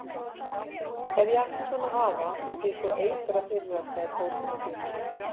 Ef ég ætti svona afa myndi ég sko eitra fyrir hann sagði Tóti með þjósti.